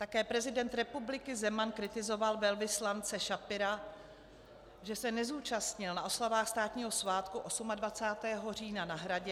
Také prezident republiky Zeman kritizoval velvyslance Schapira, že se nezúčastnil na oslavách státního svátku 28. října na Hradě.